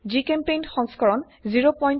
জিচেম্পেইণ্ট সংস্কৰণ 01210